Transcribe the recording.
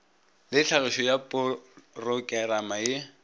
le tlhagišo ya porokerama ye